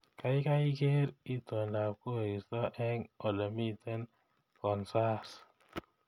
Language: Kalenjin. Gaigai geer itondab koristo eng olemiten kansaas